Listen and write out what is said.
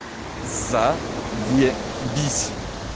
заебись